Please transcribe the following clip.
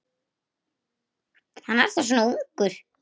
Hann er þá svona ungur.